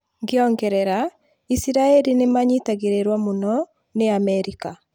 ngĩongerera, Isiraĩri nĩmanyitagĩrĩrwo muno ni Amerika.